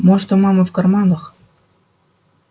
может у мамы в карманах